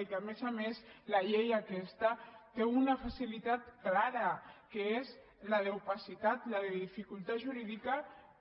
i que a més a més la llei aquesta té una facilitat clara que és la d’opacitat la de dificultat jurídica